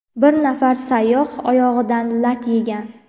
Bir nafar sayyoh oyog‘idan lat yegan.